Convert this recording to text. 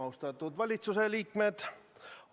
Austatud valitsuse liikmed!